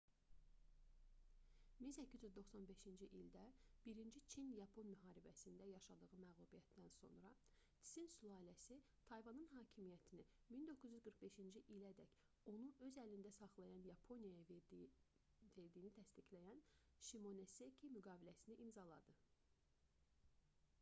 1895-ci ildə i çin-yapon müharibəsində 1894-1895 yaşadığı məğlubiyyətdən sonra tsin sülaləsi tayvanın hakimiyyətini 1945-ci ilədək onu öz əlində saxlayan yaponiyaya verdiyini təsdiqləyən şimonoseki müqaviləsini imzaladı